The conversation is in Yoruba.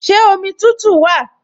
Ṣé omi tútù wà?